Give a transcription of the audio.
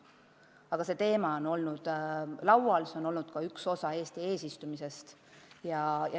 Aga see probleem on laual olnud, see oli ka üks teema Eesti eesistumise ajal.